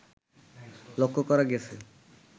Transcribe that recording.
লক্ষ্য করা গেছে